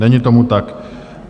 Není tomu tak.